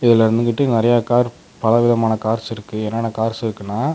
இதுல வந்துகிட்டு நெறையா கார் பலவிதமான கார்ஸ் இருக்கு என்னென்ன கார்ஸ் இருக்குன்னா.